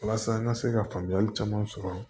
Walasa an ka se ka faamuyali caman sɔrɔ